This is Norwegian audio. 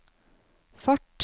fart